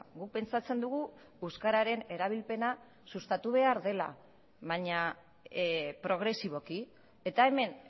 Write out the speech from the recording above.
guk pentsatzen dugu euskararen erabilpena sustatu behar dela baina progresiboki eta hemen